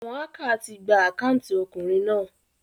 Àwon hacker ti gba account okùnrin náà